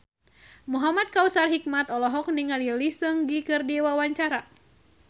Muhamad Kautsar Hikmat olohok ningali Lee Seung Gi keur diwawancara